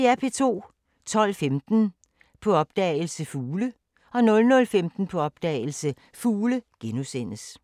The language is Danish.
12:15: På opdagelse – Fugle 00:15: På opdagelse – Fugle *